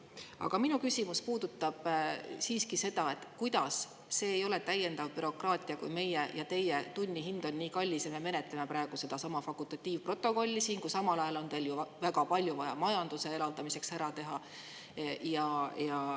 Aga minu küsimus puudutab siiski seda, et kuidas see ei ole täiendav bürokraatia, kui meie ja teie tunnihind on nii kallis, aga me menetleme praegu sedasama fakultatiivprotokolli siin, samal ajal kui teil on ju väga palju vaja majanduse elavdamiseks ära teha.